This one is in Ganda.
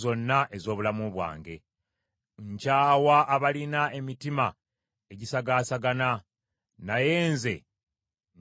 Nkyawa abalina emitima egisagaasagana, naye nze njagala amateeka go.